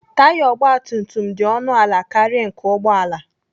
Taya ọgbatumtum dị ọnụ ala karịa nke ụgbọala.